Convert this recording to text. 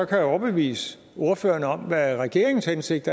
kan overbevise ordføreren om hvad regeringens hensigt